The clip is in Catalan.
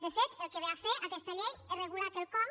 de fet el que ve a fer aquesta llei és regular quelcom